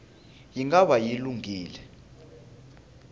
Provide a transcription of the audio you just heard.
yi nga va yi lunghile